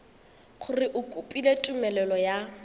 gore o kopile tumelelo ya